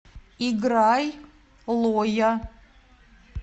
играй лоя